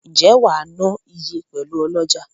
Nje wa na iye pelu oloja?